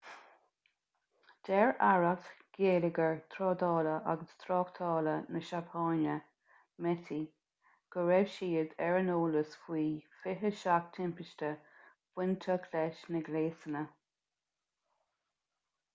deir aireacht geilleagair trádála agus tráchtála na seapáine meti go raibh siad ar an eolas faoi 27 timpiste bainteach leis na gléasanna